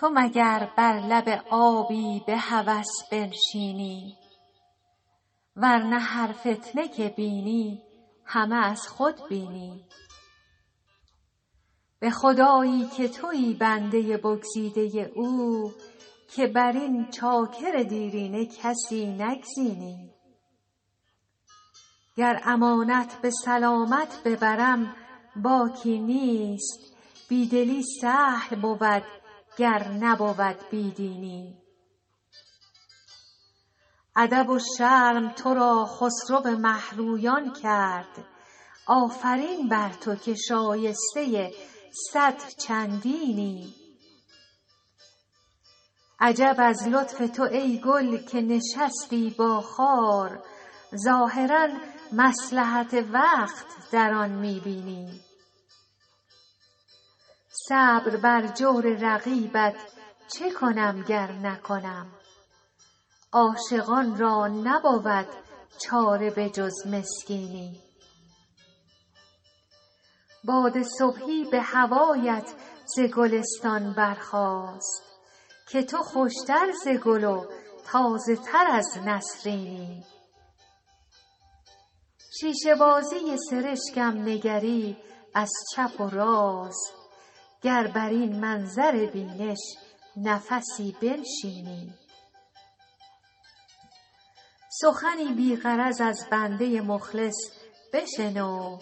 تو مگر بر لب آبی به هوس بنشینی ور نه هر فتنه که بینی همه از خود بینی به خدایی که تویی بنده بگزیده او که بر این چاکر دیرینه کسی نگزینی گر امانت به سلامت ببرم باکی نیست بی دلی سهل بود گر نبود بی دینی ادب و شرم تو را خسرو مه رویان کرد آفرین بر تو که شایسته صد چندینی عجب از لطف تو ای گل که نشستی با خار ظاهرا مصلحت وقت در آن می بینی صبر بر جور رقیبت چه کنم گر نکنم عاشقان را نبود چاره به جز مسکینی باد صبحی به هوایت ز گلستان برخاست که تو خوش تر ز گل و تازه تر از نسرینی شیشه بازی سرشکم نگری از چپ و راست گر بر این منظر بینش نفسی بنشینی سخنی بی غرض از بنده مخلص بشنو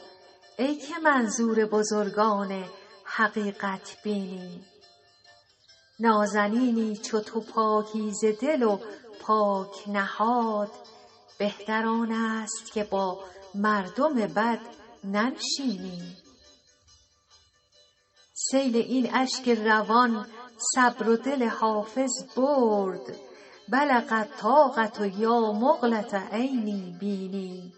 ای که منظور بزرگان حقیقت بینی نازنینی چو تو پاکیزه دل و پاک نهاد بهتر آن است که با مردم بد ننشینی سیل این اشک روان صبر و دل حافظ برد بلغ الطاقة یا مقلة عینی بیني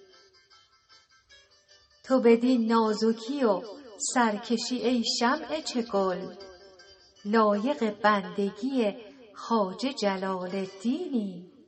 تو بدین نازکی و سرکشی ای شمع چگل لایق بندگی خواجه جلال الدینی